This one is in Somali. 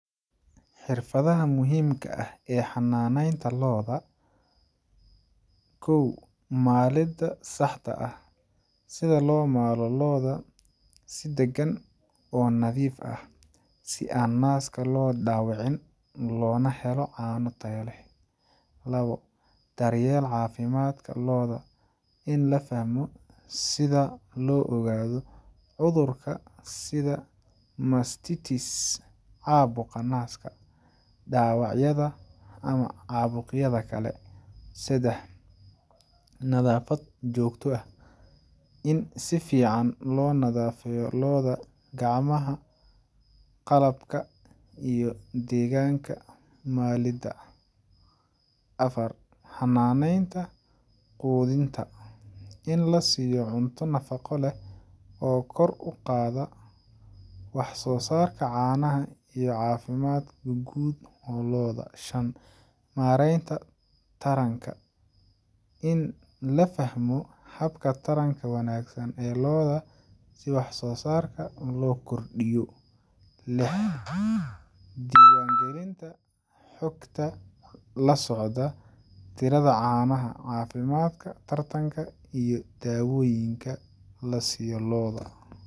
Xirfadaha muhiimka ah ee xananeenta looda kow malida looda si taxadar leh si naaska loo dawicin oo laga ilaaliyo si loo ogaado cafimaadka dawacyada iyo cabuqa nadiifinta saxka ah in la nadiifiyo malin walbo cunto fican in lasiiyo mareenta taranka si wax soo saarka loo korsiyo diwan galinta xogta canaha iyo dawoyinkan lasiiyo looda.